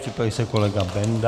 Připraví se kolega Benda.